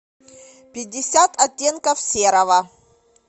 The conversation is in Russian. пятьдесят оттенков серого